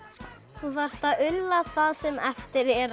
þú þarft að ulla það sem eftir er